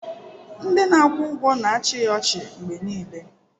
Ndị na-akwụ ụgwọ na-achị ya ọchị mgbe niile